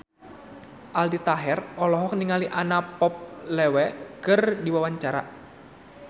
Aldi Taher olohok ningali Anna Popplewell keur diwawancara